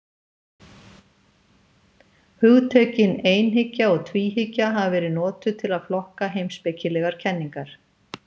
Hugtökin einhyggja og tvíhyggja hafa verið notuð til að flokka heimspekilegar kenningar.